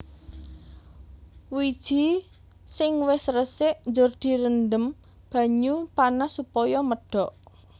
Wiji sing wis resik njur direndhem banyu panas supaya medhok